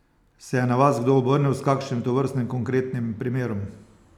Se je na vas kdo obrnil s kakšnim tovrstnim konkretnim primerom?